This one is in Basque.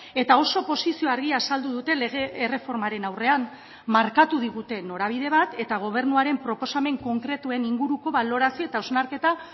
eta oso posizio argia azaldu dute lege erreformaren aurrean markatu digute norabide bat eta gobernuaren proposamen konkretuen inguruko balorazio eta hausnarketa